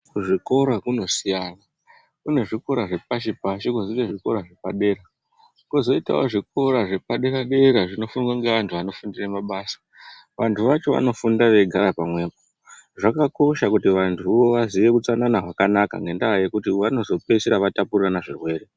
Kuzvikora kunosiyana, kune zvikora zvepashi-pashi ,kwozoite zvikora zvepadera, kwozoitawo zvikora zvepadera-dera zvinofundwa ngeantu anofundire mabasa. Vantu vacho vanofunda veigara pamwepo. Zvakakosha kuti vantuwo vaziye utsanana hwakanaka, ngendaa yekuti vanozopeisira vatapurirana zvirwere.